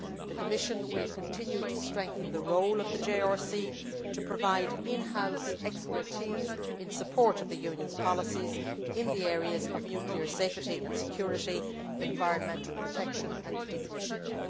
The Commission will continue to strengthen the role of the JRC to provide in house expertise in support of the Union's policies in the areas of nuclear safety and security, environmental protection and decommissioning.